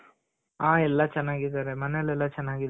ಆ ಎಲ್ಲಾ ಚೆನಾಗಿದಾರೆ. ಮನೇಲೆಲ್ಲ ಚೆನಾಗಿದಾರೆ. ಅಲ್ಲಿ